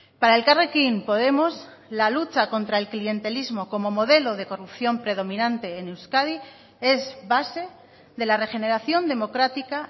para elkarrekin podemos la lucha contra el clientelismo como modelo de corrupción predominante en euskadi es base de la regeneración democrática